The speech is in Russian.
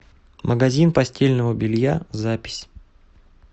магазин постельного белья запись